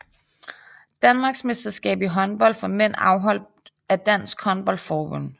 Danmarksmesterskab i håndbold for mænd afholdt af Dansk Håndbold Forbund